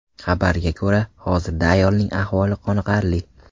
Xabarga ko‘ra, hozirda ayolning ahvoli qoniqarli.